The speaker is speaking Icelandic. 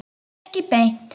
Ekki beint